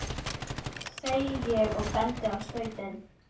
segi ég og bendi á stautinn.